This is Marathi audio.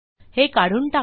हे काढून टाकू